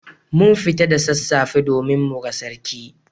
Mun fita da sassafe domin muga Sarki.